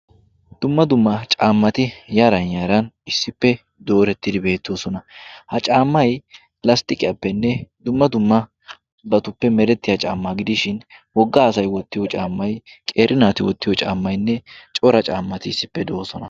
Dumma dumma caammati yaran yaaran issippe doorettidi beettoosona. ha caammai lasttiqiyaappenne dumma dumma batuppe merettiya caammaa gidishin wogga asay wottiyo caammay qeri naati wottiyo caammainne cora caammati issippe do'oosona.